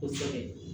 Kosɛbɛ